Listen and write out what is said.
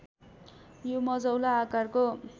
यो मझौला आकारको